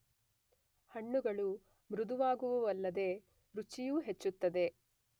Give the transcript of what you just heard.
ಹಣ್ಣುಗಳು ಮೃದುವಾಗುವುವಲ್ಲದೆ ರುಚಿಯೂ ಹೆಚ್ಚುತ್ತದೆ.